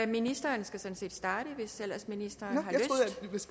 ministeren skal sådan set starte hvis ellers ministeren har